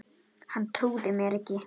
Hann trúði mér ekki